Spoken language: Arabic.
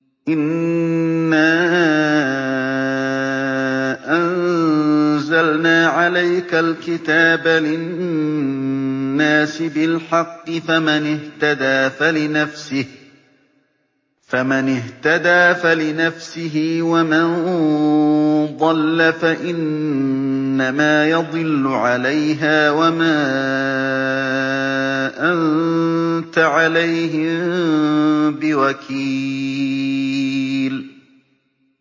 إِنَّا أَنزَلْنَا عَلَيْكَ الْكِتَابَ لِلنَّاسِ بِالْحَقِّ ۖ فَمَنِ اهْتَدَىٰ فَلِنَفْسِهِ ۖ وَمَن ضَلَّ فَإِنَّمَا يَضِلُّ عَلَيْهَا ۖ وَمَا أَنتَ عَلَيْهِم بِوَكِيلٍ